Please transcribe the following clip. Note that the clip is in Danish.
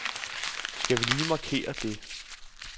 Skal vi lige markere det.